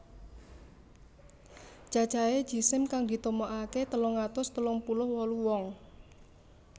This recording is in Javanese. Cacahé jisim kang ditemokaké telung atus telung puluh wolu wong